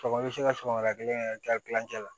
Sɔgɔma i bɛ se ka sɔgɔmada kelen kɛ kilancɛ la